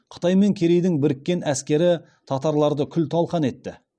қытай мен керейдің біріккен әскері татарларды күл талқан етті